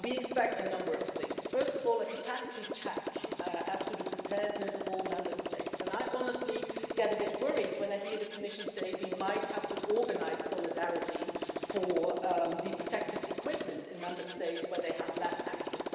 we expect a number of things first of all a capacity check as to the preparedness of all Member States and I honestly get a bit worried when I hear the Commission say we might have to organise solidarity for the protective equipment in Member States where they have less access.